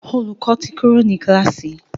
Olùkó tí Kúrò ní kilasi.